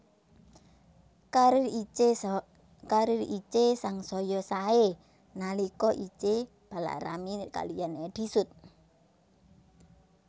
Karir Itje sangsaya saé nalika Itje palakrami kaliyan Eddy Sud